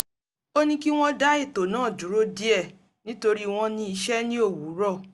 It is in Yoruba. ó ní kí wọ́n dá ètò náà dúró díẹ̀ nítorí wọn ní iṣẹ́ ní òwúrọ̀